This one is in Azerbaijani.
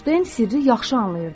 Enşteyn sirri yaxşı anlayırdı.